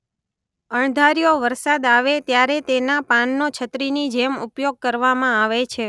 અણધાર્યો વરસાદ આવે ત્યારે તેના પાનનો છત્રીની જેમ ઉપયોગ કરવામાં આવે છે.